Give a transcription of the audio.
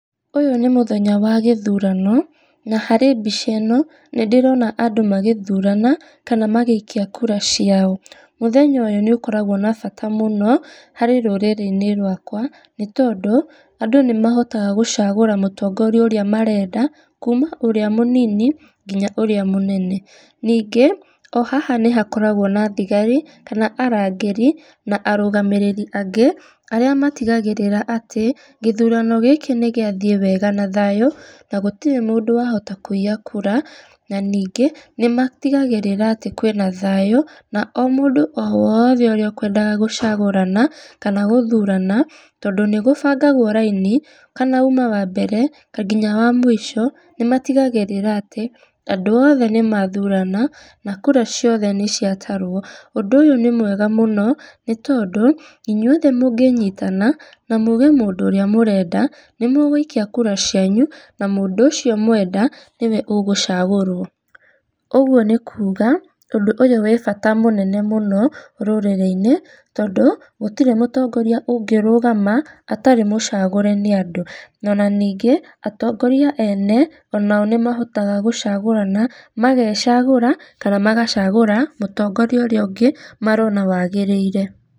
Ũyũ nĩ mũthenya wa gĩthuurano, na harĩ mbica ĩno, nĩ ndĩrona andũ magĩthuurana kana magĩikia kura ciao. Mũthenya ũyũ nĩ ũkoragwo na bata mũno, harĩ rũrĩrĩ inĩ rwakwa nĩtondũ andũ nĩmahotaga gũcagũra mũtongoria ũrĩa marenda kuma ũrĩa mũnini nginya ũrĩa mũnene. Ningĩ o haha nĩ hakoragwo na thigari kana arangĩri na arũgamĩrĩri angĩ arĩa matigagĩrĩra atĩ gĩthurano gĩkĩ nĩgiathiĩ wega na thayũ na gũtirĩ mũndũ wahota kũiya kura, na ningĩ nĩ matigagĩrĩra atĩ kwĩ na thayũ, na o mũndũ o wothe ũrĩa ũkwendaga gũcagũrana kana gũthuurana, tondũ nĩ gũbangagwo raini kana auma wa mbere nginya wa mũico nĩ matigagĩrĩra atĩ andũ othe nĩ mathurana na kura ciothe nĩ ciatarwo, ũndũ ũyũ nĩ mwega mũno nĩ tondũ, inyuothe mũngĩnyitana na muge mũndũ ũrĩa mũrenda nĩ mũgũikia kura cianyu na mũndũ ũcio mwenda niwe ũgũcagũrwo. Ũguo nĩ kuga, ũndũ ũyũ wĩ bata mũnene mũno rũrĩrĩ-inĩ, tondũ gũtirĩ mũtongoria ũngĩrũgama atarĩ mũcagũre nĩ andũ, ona ningĩ, atongoria ene nĩ mahotaga gũcagũrana magecagũra kana magacagũra mũtongoria ũrĩa ũngĩ marona wagĩrĩire.